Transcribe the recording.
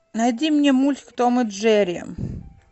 найди мне мульт том и джерри